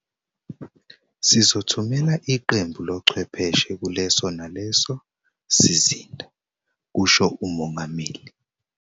"Sizothumela iqembu lochwepheshe kuleso naleso sizinda," kusho uMongameli.